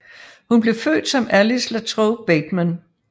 Hun blev født som Alice LaTrobe Bateman